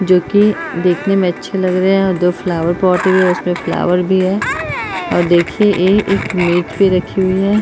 जो कि देखने में अच्छे लग रहे हैं और दो फ्लावर पॉट भी हैं। इसमे फ्लॉवर भी हैं और देखिये ए एक मेज पे रखी हुई है।